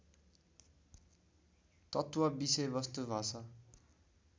तत्त्व विषयवस्तु भाषा